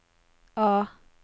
A